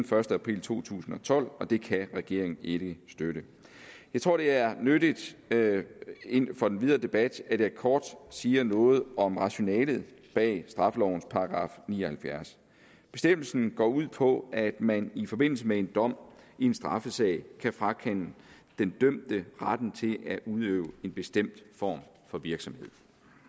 første april to tusind og tolv og det kan regeringen ikke støtte jeg tror det er nyttigt for den videre debat at jeg kort siger noget om rationalet bag straffelovens § ni og halvfjerds bestemmelsen går ud på at man i forbindelse med en dom i en straffesag kan frakende den dømte retten til at udøve en bestemt form for virksomhed